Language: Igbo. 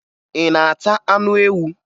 Ị na-ata anụ ewu?